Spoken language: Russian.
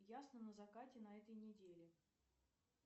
ясно на закате на этой неделе